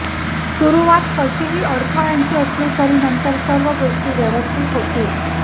सुरूवात काहीशी अडथळ्यांची असली तरी नंतर सर्व गोष्टी व्यवस्थित होतील